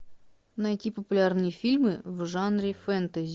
найти популярные фильмы в жанре фэнтези